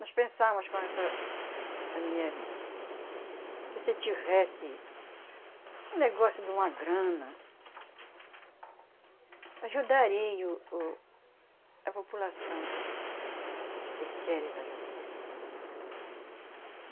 Nós pensávamos com essa, a minha irmã, que se tivesse um negócio de uma grana, ajudaria o, o, a população que que queres ajudar.